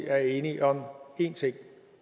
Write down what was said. er enige om en ting og